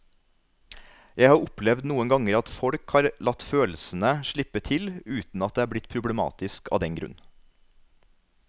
Jeg har opplevd noen ganger at folk har latt følelsene slippe til uten at det er blitt problematisk av den grunn.